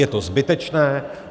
Je to zbytečné.